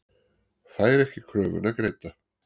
Fær ekki kröfuna greidda